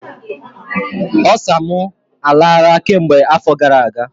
Osa m arala kemgbe afọ gara aga